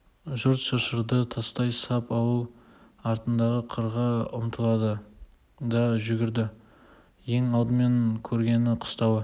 жұрт шыршырды тастай сап ауыл артындағы қырға ұмтылды да жүгірді ең алдымен көргені қыстауы